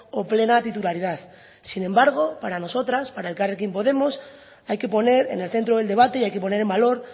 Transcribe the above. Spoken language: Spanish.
o plena titularidad sin embargo para nosotras para elkarrekin podemos hay que poner en el centro del debate y hay que poner en valor